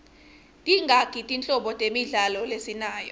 tingaki tinhlobo temidlalo lesinayo